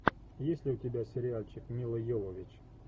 есть ли у тебя сериальчик милла йовович